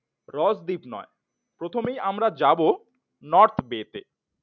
রস দ্বীপ নয়। প্রথমেই আমরা যাব নর্থ গেট